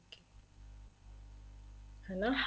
ਹਨਾ